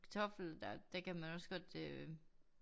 Kartoffel der der kan man også godt øh